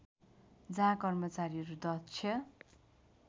जहाँ कर्मचारीहरू दक्ष